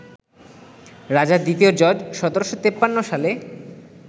রাজা দ্বিতীয় জর্জ ১৭৫৩ সালে